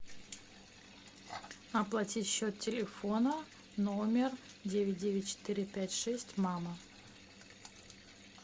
оплатить счет телефона номер девять девять четыре пять шесть мама